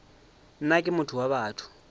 nna ke motho wa batho